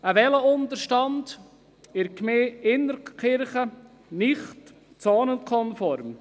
Ein Velounterstand in der Gemeinde Innertkirchen gilt als nicht zonenkonform.